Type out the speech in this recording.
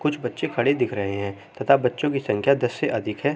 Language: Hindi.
कुछ बच्चे खड़े दिख रहे हैं तथा बच्चो की संख्या दस से अधिक हैं।